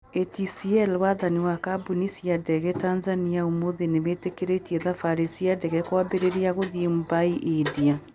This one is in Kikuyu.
ATCL: Wathani wa Kambuni cia ndege Tanzania ũmũthĩ nĩ wĩtĩkĩrĩte thabari cia ndege kwambĩrĩria gũthiĩ Mumbai, India